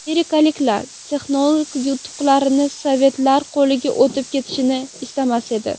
Amerikaliklar texnologik yutuqlarni sovetlar qo‘liga o‘tib ketishini istamas edi.